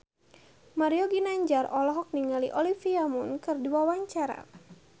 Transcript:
Mario Ginanjar olohok ningali Olivia Munn keur diwawancara